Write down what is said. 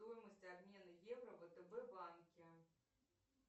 стоимость обмена евро в втб банке